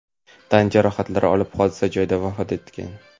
tan jarohatlari olib hodisa joyida vafot etgan.